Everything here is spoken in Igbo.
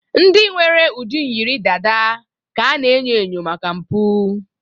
ndị nwere ụdị dada yiri ka a na-enyo enyo maka mpụ